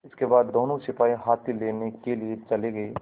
इसके बाद दोनों सिपाही हाथी लेने के लिए चले गए